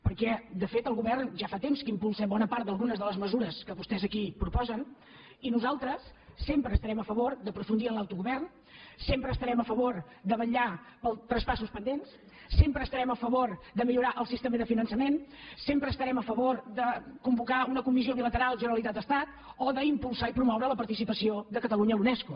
per·què de fet el govern ja fa temps que impulsa bona part d’algunes de les mesures que vostès aquí propo·sen i nosaltres sempre estarem a favor d’aprofundir en l’autogovern sempre estarem a favor de vetllar pels traspassos pendents sempre estarem a favor de millorar el sistema de finançament sempre estarem a favor de convocar una comissió bilateral generalitat·estat o d’impulsar i promoure la participació de ca·talunya a la unesco